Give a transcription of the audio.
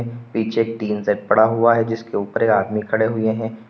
पीछे tin shed पड़ा हुआ है जिसके ऊपर आदमी खड़े हुए हैं।